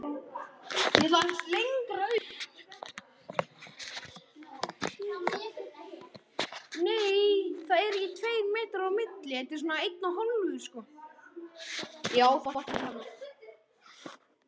Eða sagði hún það ekki?